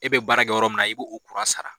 E be baara kɛ yɔrɔ mun na i b'o o kura sara.